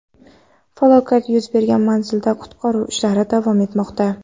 Falokat yuz bergan manzilda qutqaruv ishlari davom etmoqda.